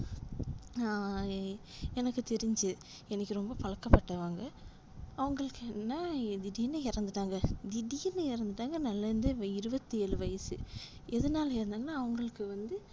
ஆஹ் எனக்கு தெரிஞ்சு எனக்கு ரொம்ப பழக்கப்பட்டவங்க அவங்களுக்கு என்னனா திடீர்னு இறந்துட்டாங்க திடீர்னு இறந்துட்டாங்க நல்லா இருந்து இருபத்து ஏழு வயசு எதுனால இறந்தாங்கனா அவங்களுக்கு வந்து